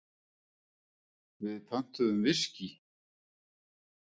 Við pöntuðum viskí.